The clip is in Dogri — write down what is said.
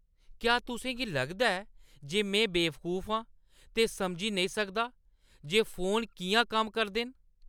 क्या तुसें गी लगदा ऐ जे में बेवकूफ आं ते समझी नेईं सकदा जे फोन किʼयां कम्म करदे न?